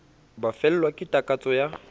ba fellwa ke takatso ya